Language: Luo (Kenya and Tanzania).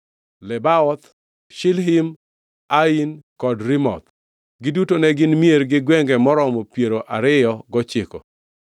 Lebaoth, Shilhim, Ain kod Rimon. Giduto ne gin mier gi gwenge maromo piero ariyo gochiko.